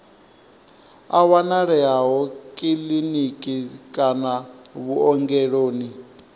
a wanalea kiḽiniki kana vhuongeloni